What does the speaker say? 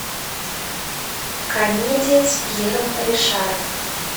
комедия с пьером ришаром